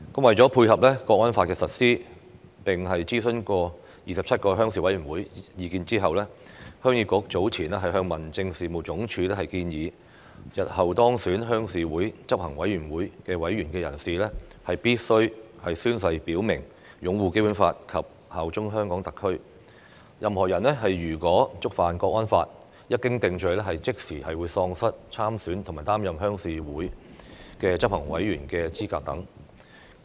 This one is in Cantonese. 為配合《香港國安法》實施，經諮詢27個鄉事會的意見後，鄉議局早前向民政事務總署提出修訂建議，日後當選鄉事會執行委員會委員的人士，必須宣誓表明擁護《基本法》及效忠香港特區；任何人如果觸犯《香港國安法》，一經定罪後，便即時喪失參選及擔任鄉事會執行委員的資格等。